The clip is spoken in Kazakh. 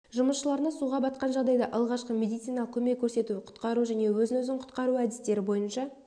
жұмысшыларына суға батқан жағдайда алғашқы медициналық көмек көрсету құтқару және өзін өзі құтқару әдістері бойынша